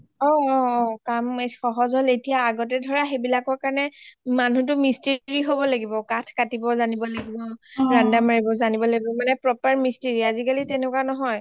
অ অ কাম সহজ হল এতিয়া আগতে ধৰা সেইবিলাকৰ কাৰণে মানুহটো Mistry হব লাগিব কাঠ কাটিবয়ো যানিব লাগিব ৰানদা মাৰিবও যানিব লাগিব মানে proper Mistry আজিকালি তেনেকৱা নহৈ